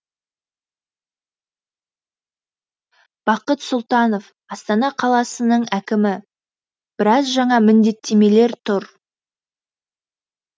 бақыт сұлтанов астана қаласының әкімі біраз жаңа міндеттемелер тұр